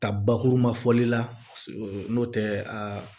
Ka bakuruba fɔli la n'o tɛ aa